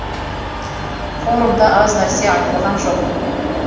форумда аз нәрсе айтылған жоқ